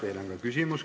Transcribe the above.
Teile on ka küsimus.